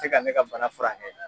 A tɛ se ka ne ka bana furakɛ .